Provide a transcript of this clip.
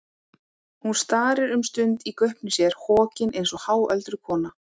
Hún starir um stund í gaupnir sér, hokin eins og háöldruð kona.